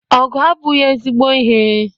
Ọgụ abụghị ezigbo ihe.